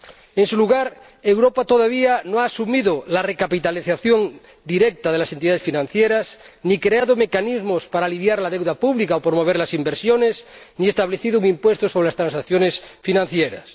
Además, Europa todavía no ha asumido la recapitalización directa de las entidades financieras, ni creado mecanismos para aliviar la deuda pública o promover las inversiones, ni establecido un impuesto sobre las transacciones financieras.